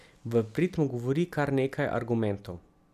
V prid mu govori kar nekaj argumentov.